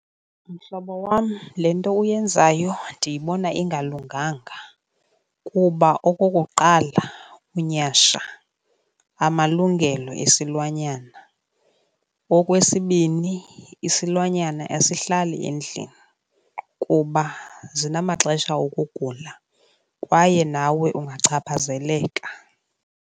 Mhlobo wam, le nto uyenzayo ndiyibona ingalunganga kuba, okokuqala, unyhasha amalungelo esilwanyana. Okwesibini, isilwanyana asihlali endlini kuba zinamaxesha okugula kwaye nawe ungachaphazeleka.